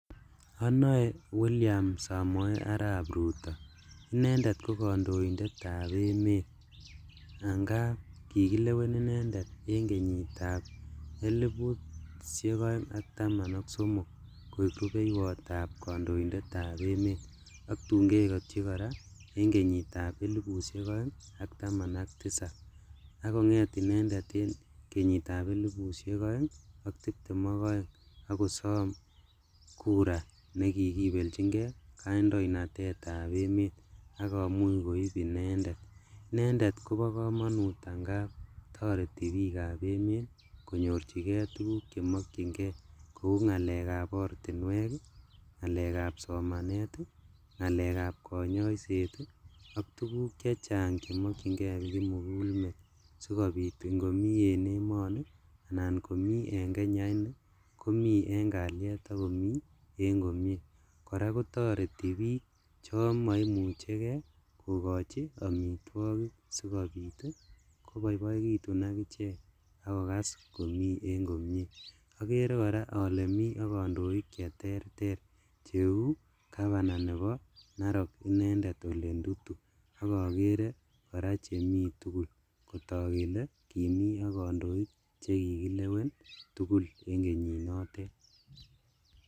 Onoe William Samoe Arap Ruto inendet kokondoindetab emet angap kikilewen inendet en kenyitab elipushek oeng ak taman ok somok koik rupeiwotab kondoindetab emet ak tun keketchi koraa en kenyitab elipushek oeng ak taman ak tisab, ak konget inendet en kenyitab elipushek oeng ak tiptem ok oeng ak kosom kura nekikibeljingee kondoindetab emet ak komuch koib inendet, inendet kobo komonut angap toreti bikab emet konyorjigee tuguk chemokyingee kou ngalekab ortinwek ii, ngalekab somanet ii, ngalekab konyoiset ii ak tuguk chechang chemokyingee kimigulmet sokobit ingomi en emoni anan komi en kenya inii komi en kaliet ak komi en komie, koraa kotoreti bik chon moimuchekee kokochi omitwogik sikobit koboiboekitun ak ichek ak kokas komi en komie, okere koraa ole mi ok kondoik cheterter cheu governor nebo Narok inendet Ole Ntutu ok okere koraa chemi tugul kotok kele kimi ok kondoik chekikilewen tugul en kenyinotet.